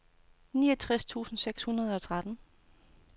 niogtres tusind seks hundrede og tretten